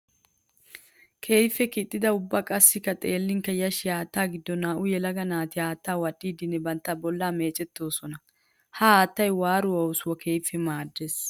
Keehippe kixxidda ubba qassikka xeellinkka yashshiya haatta giddon naa'u yelaga naati haatta wadhdhidinne bantta bolla meecetossonna. Ha haattay waaruwa oosuwawu keehippe maades.